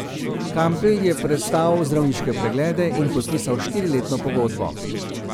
Kampl je prestal zdravniške preglede in podpisal štiriletno pogodbo.